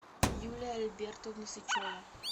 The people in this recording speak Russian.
юлия альбертовна сычева